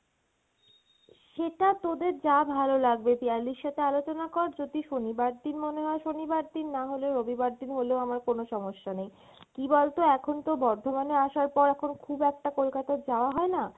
সেটা তোদের যা ভালো লাগবে, পিয়ালির সাথে আলোচনা কর যদি শনিবার দিন মনে হয় শনিবার দিন নাহলে রবিবার দিন হলেও আমার কোনো সমস্যা নেই। কী বলতো এখন তো বর্ধমানে আসার পর এখন খুব একটা কলকাতা যাওয়া হয়না